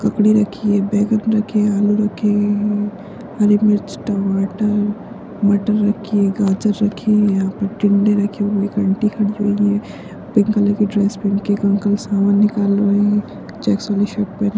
ककड़ी रखी है बैगन रखे हैं आलू रखे हैं मम हरी मिर्च टमाटर मटर रखी हैं गाजर रखी हैं यहाँ पर टिंडे रखे हुए हैं एक आंटी खड़ी हुई हैं पिंक कलर की ड्रेस पहन के एक अंकल सामान निकाल रहे हैं चेक्स वाली शर्ट पहन --